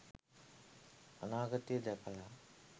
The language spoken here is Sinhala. අනාගතය දැකල